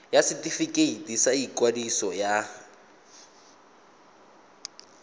ya setefikeiti sa ikwadiso ya